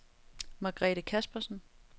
Margrethe Kaspersen